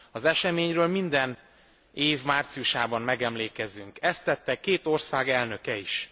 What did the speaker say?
Az eseményről minden év márciusában megemlékezünk, ezt tette két ország elnöke is.